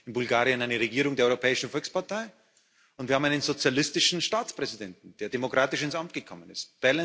Wir haben in Bulgarien eine Regierung der Europäischen Volkspartei, und wir haben einen sozialistischen Staatspräsidenten, der demokratisch ins Amt gekommen ist.